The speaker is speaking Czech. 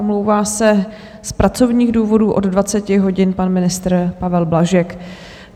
Omlouvá se z pracovních důvodů od 20 hodin pan ministr Pavel Blažek.